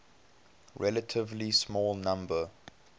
relatively small number